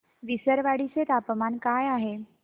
विसरवाडी चे तापमान काय आहे